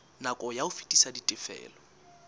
nako ya ho fetisa ditifelo